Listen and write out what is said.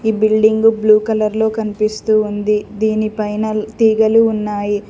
ఈ building blue colour లో కనిపిస్తూ ఉంది దీనిపైన తీగలు ఉన్నాయి.